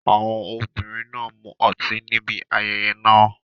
Àwọn obìnrin náà mu ọtí níbi ayẹyẹ náà.